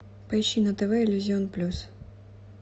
поищи на тв иллюзион плюс